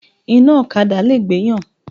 Iná ọ̀kadà lè gbéyàn.